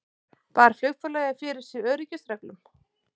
Bar flugfélagið fyrir sig öryggisreglum